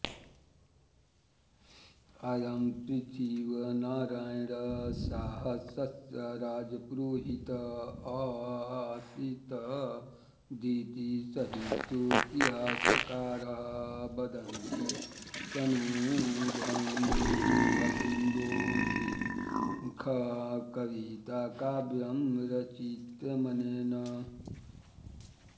अयं पृथ्वीनारायण शाहस्य राजपुरोहितः अासीतदिति साहित्येतिहासकाराः वदन्ति तनहु भकुन्डो शीर्षक कविताकाव्यं रचितमनेन